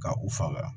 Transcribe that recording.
Ka u faga